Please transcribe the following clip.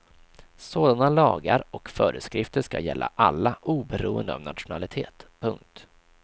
Sådana lagar och föreskrifter ska gälla alla oberoende av nationalitet. punkt